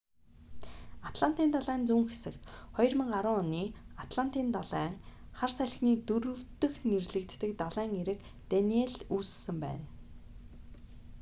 атлантын далайн зүүн хэсэгт 2010 оны атлантын далайн хар салхины дөрөв дэх нэрлэгддэг далайн эрэг даниелл үүссэн байна